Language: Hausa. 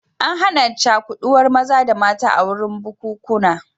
An hana cakuɗuwar maza da mata a wurin bukunkuna